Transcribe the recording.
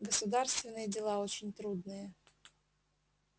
государственные дела очень трудные